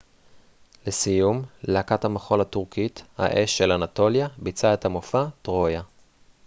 לסיום להקת המחול הטורקית האש של אנטוליה ביצעה את המופע טרויה